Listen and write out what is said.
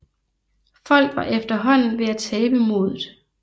Folk var efterhånden ved at tabe modet